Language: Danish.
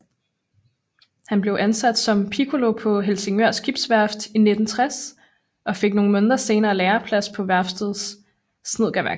Han blev ansat som piccolo på Helsingør Skibsværft i 1960 og fik nogle måneder senere læreplads på værftets snedkerværksted